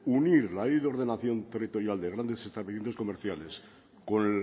unir la ley de ordenación territorial de grandes establecimientos comerciales con